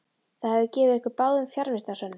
Það hefði gefið ykkur báðum fjarvistarsönnun.